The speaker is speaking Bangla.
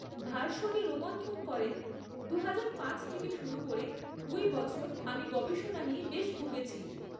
ভার্শনি রোমন্থন করেন, দুহাজার পাঁচ থেকে শুরু করে দুই বছর আমি গবেষণা নিয়ে বেশ ভুগেছি।